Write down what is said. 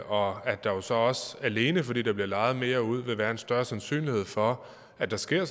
og at der jo så også alene fordi der bliver lejet mere ud vil være en større sandsynlighed for at der sker